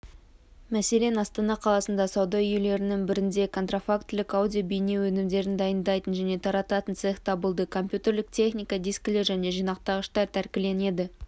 мәселен астана қаласында сауда үйлерінің бірінде контрафактілік аудио-бейне өнімдерді дайындайтын және тарататын цех табылды компьютерлік техника дискілер және жинақтағыштар тәркіленді